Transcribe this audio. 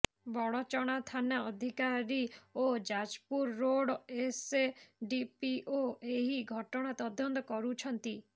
ବଡଚଣା ଥାନା ଅଧିକାରୀ ଓ ଯାଜପୁର ରୋଡ ଏସଡିପିଓ ଏହି ଘଟଣା ତଦନ୍ତ କରୁଛନ୍ତି